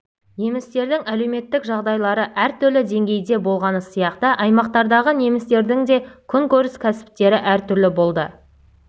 немістердің әлеуметтік жағдайлары әр түрлі деңгейде болғаны сияқты аймақтардағы немістердің де күнкөріс кәсіптері әр түрлі болды